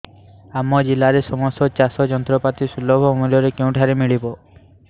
ଆମ ଜିଲ୍ଲାରେ ସମସ୍ତ ଚାଷ ଯନ୍ତ୍ରପାତି ସୁଲଭ ମୁଲ୍ଯରେ କେଉଁଠାରୁ ମିଳିବ